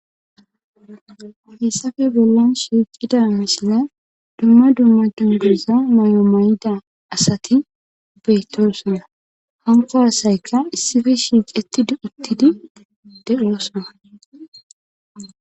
Hessafe bollan shiiqida misine dumma dumma junduza mayo may'ida asati bettosona hanko hasayka issife shiicetti duuttidi deoosana.